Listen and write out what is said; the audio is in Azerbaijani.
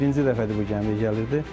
Heç birinci dəfədir bu gəmiyə gəlirdi.